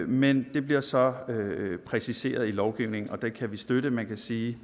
men det bliver så præciseret i lovgivningen og det kan vi støtte man kan sige